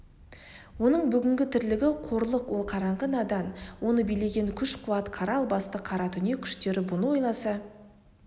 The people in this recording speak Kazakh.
оның бүгінгі тірлігі қорлық ол қараңғы надан оны билеген күш-қуат қара албасты қаратүнек күштері бұны ойласа